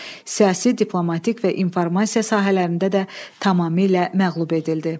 Siyasi, diplomatik və informasiya sahələrində də tamamilə məğlub edildi.